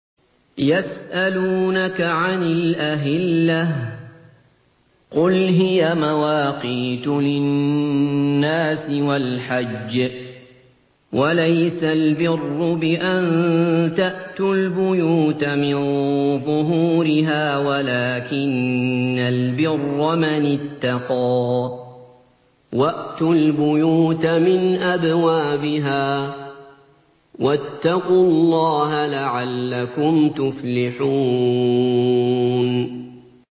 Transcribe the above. ۞ يَسْأَلُونَكَ عَنِ الْأَهِلَّةِ ۖ قُلْ هِيَ مَوَاقِيتُ لِلنَّاسِ وَالْحَجِّ ۗ وَلَيْسَ الْبِرُّ بِأَن تَأْتُوا الْبُيُوتَ مِن ظُهُورِهَا وَلَٰكِنَّ الْبِرَّ مَنِ اتَّقَىٰ ۗ وَأْتُوا الْبُيُوتَ مِنْ أَبْوَابِهَا ۚ وَاتَّقُوا اللَّهَ لَعَلَّكُمْ تُفْلِحُونَ